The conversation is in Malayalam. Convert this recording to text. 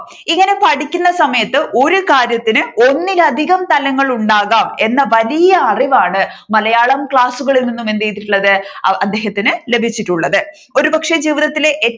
ഇങ്ങനെ പഠിക്കുന്ന സമയത്തു ഒരു കാര്യത്തിന് ഒന്നിലധികം തലങ്ങൾ ഉണ്ടാകാം എന്ന വലിയ അറിവാണ് മലയാളം ക്ലാസ്സുകളിൽ നിന്ന് എന്ത് ചെയ്തിട്ടുള്ളത് അദ്ദേഹത്തിന് ലഭിച്ചിട്ടുള്ളത് ഒരുപക്ഷെ ജീവിതത്തിലെ